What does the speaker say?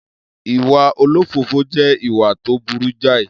Iwa òlòfòfò je ìwà to burú jàì